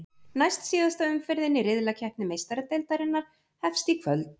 Næstsíðasta umferðin í riðlakeppni Meistaradeildarinnar hefst í kvöld.